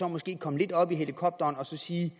måske komme lidt op i helikopteren og sige